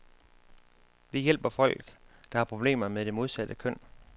Vi hjælper folk, der har problemer med det modsatte køn.